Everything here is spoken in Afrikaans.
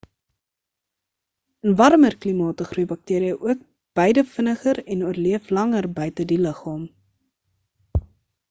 in warmer klimate groei bakteria ook beide vinniger en oorleef langer buite die liggaam